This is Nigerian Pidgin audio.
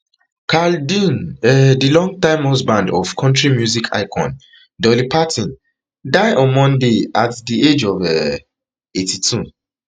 carl dean um di longtime husband of kontri music icon dolly parton die on monday at di age um of eighty-two